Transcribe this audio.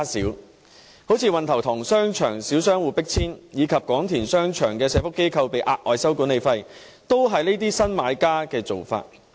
舉例而言，運頭塘商場小商戶被迫遷，以及廣田商場的社會福利機構被收取額外管理費，也是這些新買家的做法。